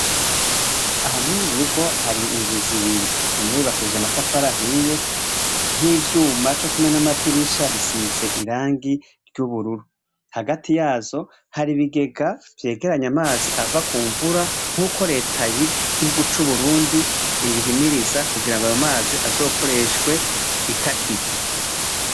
Aha mururugo hari inzu zibiri, imwe yu bakishije amatafara ahiye nk'ivyuma co kumwe n'amadirisha bisize irangi ry'ubururu, hagati yazo hari ibigega vyegeranye amazi ava ku mvura nk'uko reta y'igihugu c'uburundi ibihimiriza kugira ngo ayo mazi azokoreshwe itakigwa.